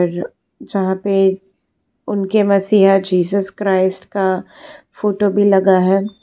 यहां पे उनके मसीहा जीसस क्राइस्ट का फोटो भी लगा है।